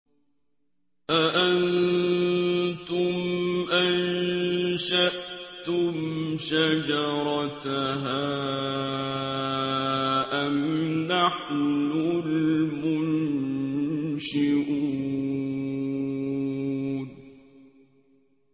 أَأَنتُمْ أَنشَأْتُمْ شَجَرَتَهَا أَمْ نَحْنُ الْمُنشِئُونَ